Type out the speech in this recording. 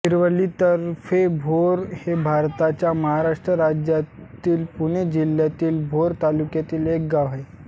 शिरवली तर्फे भोर हे भारताच्या महाराष्ट्र राज्यातील पुणे जिल्ह्यातील भोर तालुक्यातील एक गाव आहे